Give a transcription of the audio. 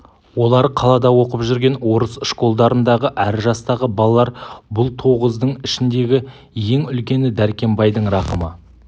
олар қалада оқып жүрген орыс школдарындағы әр жастағы балалар бұл тоғыздың ішіндегі ең үлкені дәркембайдың рахымы